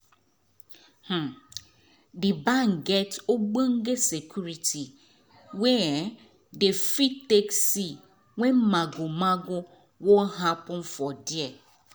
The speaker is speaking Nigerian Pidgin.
um d bank get ogbonge security wey um dey fit take see wen mago mago wan happen for there